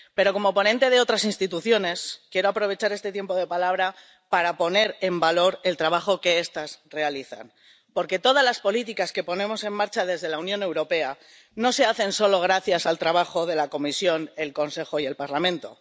Pero, como ponente sobre otras instituciones, quiero aprovechar este tiempo de palabra para poner en valor el trabajo que estas realizan, porque todas las políticas que ponemos en marcha desde la Unión Europea no se hacen solo gracias al trabajo de la Comisión, el Consejo y el Parlamento.